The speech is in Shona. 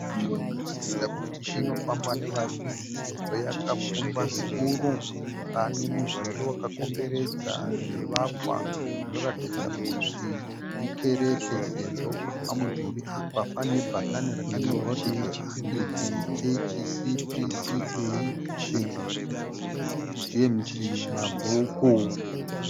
Nzvimbo inoratidza kuti inofamba nevazhinji sezvo yakapfumba zvikuru, pane mudhuri wakakomberedza zvivakwa zvinoratidza kuti ikereke sezvo pamudhuri apa pane bhakani rakanyorwa kuti "The Anglican Church CPCA St James Mabvuku".